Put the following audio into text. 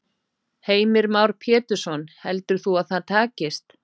Heimir Már Pétursson: Heldur þú að það takist?